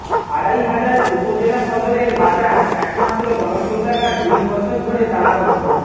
আড়াইহাজার উপজেলা সদরের বাজার একমাত্র গণশৌচাগার দুই বছর ধরে তালাবদ্ধ